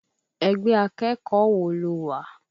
Ẹgbẹ́ akẹ́kọ̀ọ́ wo lo wà?